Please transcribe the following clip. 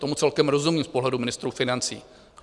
Tomu celkem rozumím z pohledu ministrů financí.